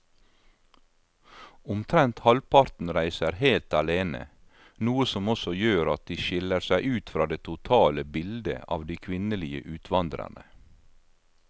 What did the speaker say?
Omtrent halvparten reiser helt alene, noe som også gjør at de skiller seg ut fra det totale bildet av de kvinnelige utvandrerne.